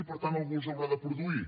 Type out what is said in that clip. i per tant algú els haurà de produir